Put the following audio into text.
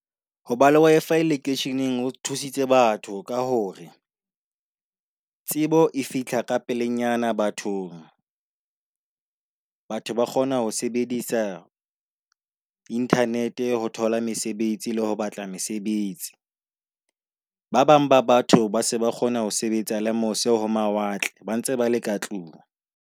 Ho ba le Wi-Fi lekeisheneng ho thusitse batho ka hore tsebo e fihla ka pelenyana bathong. Batho ba kgona ho sebedisa internet ho thola mesebetsi le ho batla mesebetsi. Ba bang ba batho ba se ba kgona ho sebetsa le mose ho mawatle, ba ntse bale ka tlung.